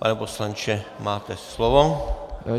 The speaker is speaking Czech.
Pane poslanče, máte slovo.